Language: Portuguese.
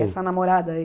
Quem Essa namorada aí?